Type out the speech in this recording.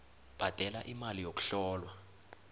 bhadela imali yokuhlolwa